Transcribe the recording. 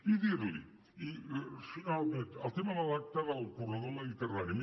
i dir li finalment el tema de l’acte del corredor mediterrani